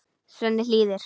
Svenni hlýðir.